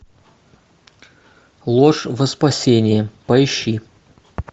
ложь во спасение поищи